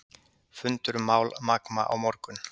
Fundur um mál Magma á morgun